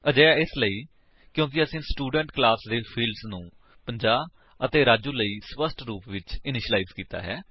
ਅਜਿਹਾ ਇਸਲਈ ਕਿਉਂਕਿ ਅਸੀਂ ਸਟੂਡੈਂਟ ਕਲਾਸ ਦੇ ਫਿਲਡਸ ਨੂੰ 50 ਅਤੇ ਰਾਜੂ ਲਈ ਸਪੱਸ਼ਟ ਰੂਪ ਵਿਚ ਇਨੀਸ਼ਿਲਾਇਜ ਕੀਤਾ ਹੈ